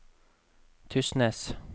Tysnes